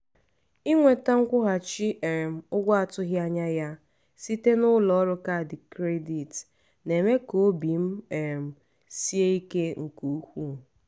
inweta nkwụghachi um ụgwọ a tụghị anya ya site n’ụlọ ọrụ kaadị kredit na-eme ka obi m um sie ike nke ukwuu.